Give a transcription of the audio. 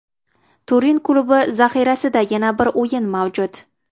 Turin klubi zaxirasida yana bir o‘yin mavjud.